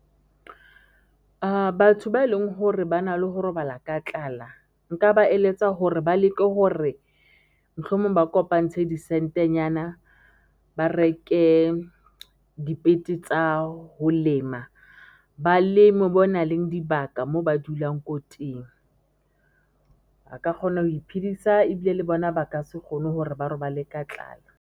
Batho ba e leng hore ba na le ho robala ka tlala nka ba eletsa hore ba leke hore mohlomong ba kopantshe di sentenyana, ba reke dipete tsa ho lema baleme mo nang le dibaka moo ba dulang ko teng, a ka kgona ho iphidisa ibile le bona ba ka se kgone hore ba robale ka tlala.